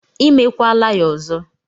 I mekwala ya ọzọ!